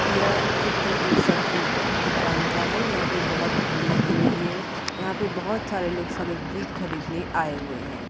यह चित्र एक सब्जी की दुकान का है यहां पे बहुत भीड़ लगी हुई है। यहाँ पे बहुत सारे लोग सब्जी खरीदने आए हुए हैं।